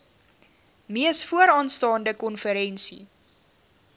mees vooraanstaande konferensie